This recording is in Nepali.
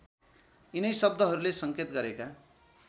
यिनै शब्दहरूले सङ्केत गरेका